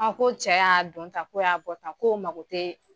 ko cɛ y'a don tan ko y'a bɔ tan ko mago tɛ